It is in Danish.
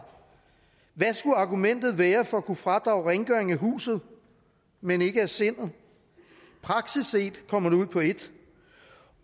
hvad skulle argumentet være for at kunne fradrage rengøring af huset men ikke af sindet praktisk set kommer det ud på et